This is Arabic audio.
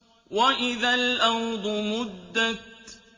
وَإِذَا الْأَرْضُ مُدَّتْ